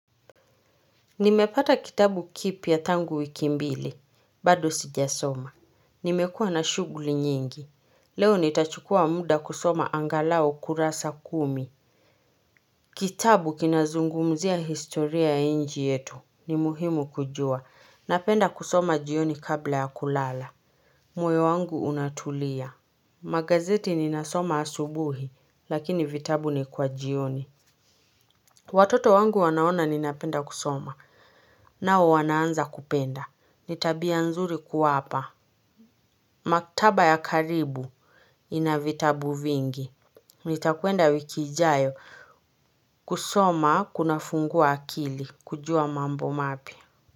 Nimepata kitabu kipya tangu wiki mbili, bado sijasoma. Nimekuwa na shughuli nyingi. Leo nitachukua muda kusoma angalau kurasa kumi. Kitabu kinazungumzia historia ya nchi yetu. Ni muhimu kujua. Napenda kusoma jioni kabla ya kulala. Moyo wangu unatulia. Magazeti ninasoma asubuhi, lakini vitabu ni kwa jioni. Watoto wangu wanaona ninapenda kusoma. Nao wanaanza kupenda. Ni tabia nzuri kuwapa. Maktaba ya karibu inavitabu vingi. Nitakuenda wiki ijayo kusoma kuna fungua akili kujua mambo mapya.